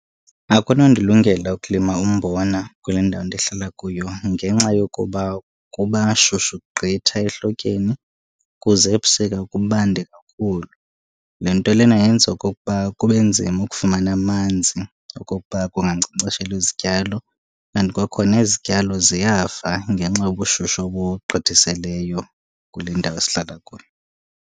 Akunondilungela ukulima umbona kule ndawo ndihlala kuyo ngenxa yokuba kuba shushu gqitha ehlotyeni kuze ebusika kubande kakhulu. Le nto lena yenza okokuba kube nzima ukufumana amanzi okokuba kungankcenkceshelwa izityalo, and kwakho izityalo ziyafa ngenxa yobushushu obugqithisileyo kule ndawo esihlala kuyo.